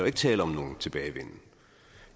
ikke tale om nogen tilbagevenden